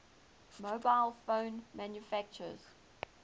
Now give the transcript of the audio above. mobile phone manufacturers